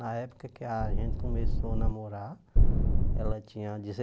Na época que a gente começou a namorar, ela tinha